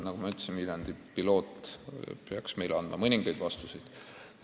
Nagu ma ütlesin, Viljandi pilootprojekt peaks andma mõningaid vastuseid.